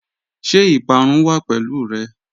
Ṣẹ ipàrún wà pẹ̀lú rẹ?